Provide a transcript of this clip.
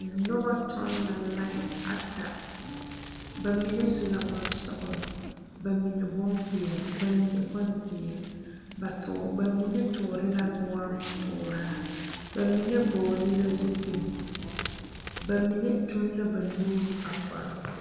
Noba toɔ la lae ata bamine su la bonsɔglɔ, bamine bonpeɛle, bamine bonziiri ba tuure bamine tuure la noɔre tuura bamine vɔgle la zupele bamine tu la ba nuure ba kɔre poɔ.